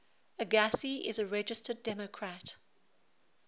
agassi is a registered democrat